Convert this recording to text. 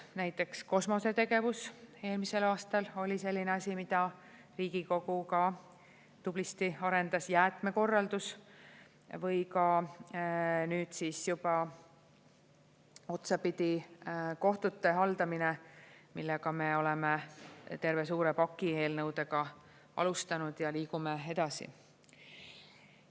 Näiteks kosmosetegevus eelmisel aastal oli selline asi, mida Riigikogu ka tublisti arendas, jäätmekorraldus või ka nüüd siis juba otsapidi kohtute haldamine, millega me oleme terve suure paki eelnõudega alustanud ja liigume edasi.